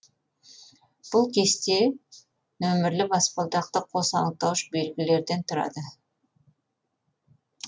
бұл кесте нөмірлі баспалдақты қос анықтауыш белгілерден тұрады